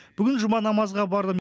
бүгін жұма намазға бардым